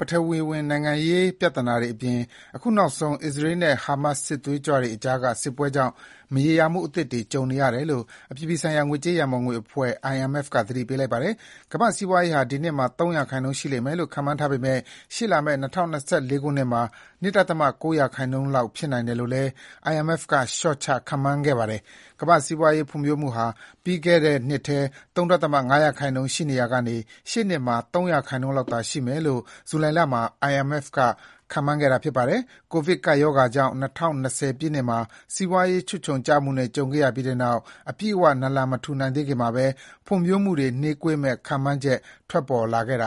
ပထဝီဝင်နိုင်ငံရေး ပြဿနာတွေအပြင် အခုနောက်ဆုံး အစ္စရေးနဲ့ ဟာမက်စ်စစ်သွေးကြွတွေကြားက စစ်ပွဲကြောင့် မရေရာမှုအသစ်တွေ ကြုံနေရတယ်လို့ အပြည်ပြည်ဆိုင်ရာ ငွေကြေးရန်ပုံငွေအဖွဲ့ (IMF) က သတိပေးလိုက်ပါတယ်။ ကမ္ဘာ့စီးပွားရေးဟာ ဒီနှစ်မှာ ၃ ရာခိုင်နှုန်းရှိမယ်လို့ ခန့်မှန်းထားပေမဲ့ ရှေ့လာမယ့် ၂၀၂၄ ခုနှစ်မှာ ၂.၉ ရာခိုင်နှုန်းလောက် ဖြစ်နိုင်တယ်လို့လည်း IMF က လျှောချခန့်မှန်းခဲ့တာပါ။ ကမ္ဘာ့စီးပွားရေးဖွံ့ဖြိုးမှုဟာ ပြီးခဲ့တဲ့နှစ်ထဲ ၃.၅ ရာခိုင်နှုန်း ရှိနေရာက ရှေ့နှစ်မှာ ၃ ရာခိုင်နှုန်းလောက် ရှိမယ်လို့ ဇူလိုင်လမှာ IMF က ခန့်မှန်းခဲ့ပါတယ်။ ကိုဗစ်ကပ်ရောဂါကြောင့် ၂၀၂၀ ပြည့်နှစ်မှာ စီးပွားရေးချွတ်ခြုံကျမှုနဲ့ ကြုံခဲ့ရပြီးနောက် အပြည့်အဝ ပြန်နာလန်မထူနိုင်သေးခင်မှာပဲ ဖွံ့ဖြိုးမှုတွေ နှေးကွေးမယ့် ခန့်မှန်းချက် ထွက်လာခဲ့တာပါ။